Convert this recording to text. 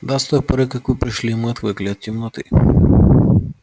да с той поры как вы пришли мы отвыкли от темноты